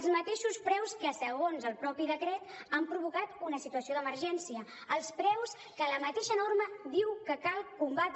els mateixos preus que segons el mateix decret han provocat una situació d’emergència els preus que la mateixa norma diu que cal combatre